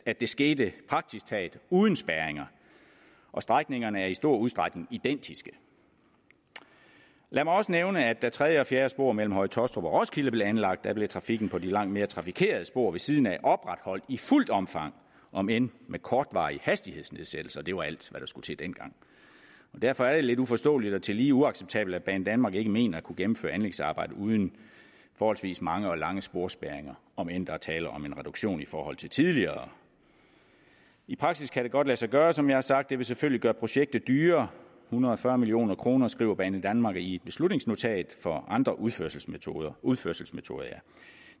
at det skete praktisk taget uden spærringer og strækningerne er i stor udstrækning identiske lad mig også nævne at da tredje og fjerde spor mellem høje taastrup og roskilde blev anlagt blev trafikken på de langt mere trafikerede spor ved siden af opretholdt i fuldt omfang om end med kortvarige hastighedsnedsættelser det var alt hvad der skulle til dengang derfor er det lidt uforståeligt og tillige uacceptabelt at banedanmark ikke mener at kunne gennemføre anlægsarbejdet uden forholdsvis mange og lange sporspærringer om end der er tale om en reduktion i forhold til tidligere i praksis kan det godt lade sig gøre som jeg har sagt det vil selvfølgelig gøre projektet dyrere hundrede og fyrre million kr skriver banedanmark i et beslutningsnotat for andre udførelsesmetoder udførelsesmetoder